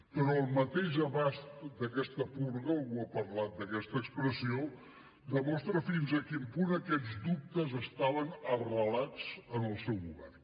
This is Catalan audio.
però el mateix abast d’aquesta purga algú ha parlat d’aquesta expressió demostra fins a quin punt aquests dubtes estaven arrelats en el seu govern